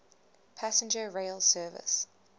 passenger rail service